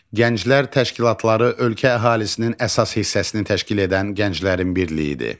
Gənclər təşkilatları ölkə əhalisinin əsas hissəsini təşkil edən gənclərin birliyidir.